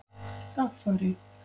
Dagfari